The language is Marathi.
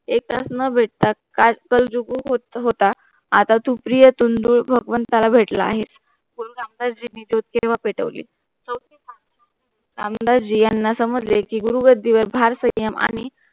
एक तास न भेटताच काल तू जुगु होता आता तू प्रिय तुंडुन भगवंताला भेटला आहेस. गुरु रामदास जीनी चौथ केला पेटवली रामदास जीयांना समोर लेखी गुरु गड्डीवर भर संयम आहि